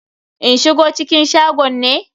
In shigo cikin shagon ne?